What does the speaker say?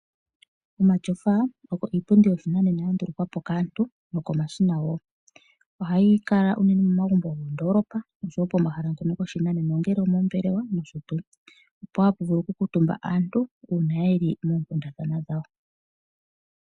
Omatyofa ogo iipundi yoshinanena, ya ndulukwa kaantu noko mashina ohayi kala unene momagumbo gomo ndoolopa nopomahala gopashinanena ongele omombelewa nosho tuu, ohapu vulu oku kuntumba aantu uuna yeli moonkundathana dhawo.